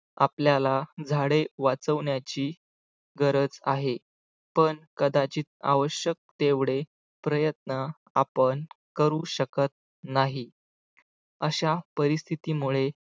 आपल्याला झाडे वाचवण्याची गरज आहे पण कदाचित आवश्यक तेवढे प्रयत्न आपण करू शकत नाही अशा परिस्थितीमुळे